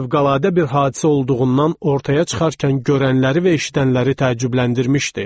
Fövqəladə bir hadisə olduğundan ortaya çıxarkən görənləri və eşidənləri təəccübləndirmişdi.